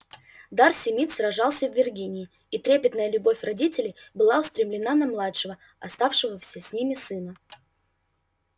дарси мид сражался в виргинии и трепетная любовь родителей была устремлена на младшего оставшегося с ними сына